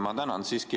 Ma tänan!